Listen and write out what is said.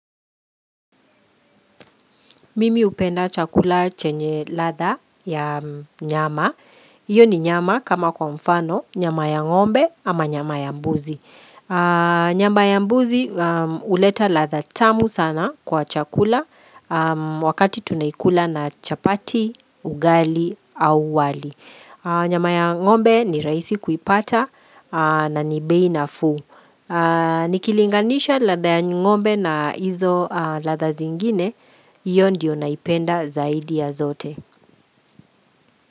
Mimi hupenda chakula chenye ladha ya nyama. Iyo ni nyama kama kwa mfano, nyama ya ngombe ama nyama ya mbuzi. Nyama ya mbuzi uleta ladha tamu sana kwa chakula wakati tunaikula na chapati, ugali au wali. Nyama ya ngombe ni rahisi kuipata na ni bei nafuu. Nikilinganisha ladha ya ng'ombe na hizo ladha zingine Iyo ndiyo naipenda zaidi ya zote.